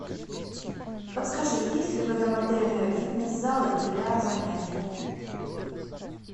подскажи есть ли в этом отеле фитнес залы для занятий